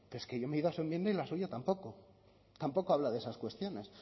pero es que yo me he ido a su enmienda y la suya tampoco tampoco habla de esas cuestiones